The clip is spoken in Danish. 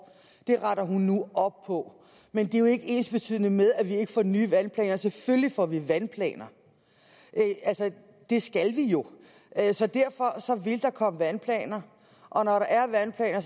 det retter hun nu op på men det er jo ikke ensbetydende med at vi ikke får nye vandplaner selvfølgelig får vi vandplaner det skal vi jo have så derfor vil der komme vandplaner og når der er vandplaner